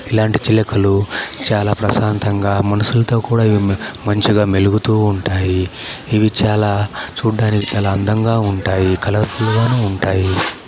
ఇలాంటి చిలకలు చాలా ప్రశాంతంగా మనుషులతో కూడా ఇవి మ_మంచిగా మెలుగుతూ ఉంటాయి. ఇవి చాలా చూడ్డానికి చాలా అందంగాఉంటాయి. కలర్ ఫుల్ గాను ఉంటాయి.